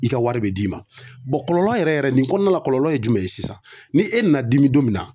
I ka wari be d'i ma bɔn kɔlɔlɔ yɛrɛ yɛrɛ nin kɔnɔna la kɔlɔlɔ ye jumɛn ye sisan ni e nana dimi don min na